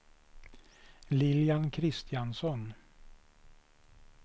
Lilian Kristiansson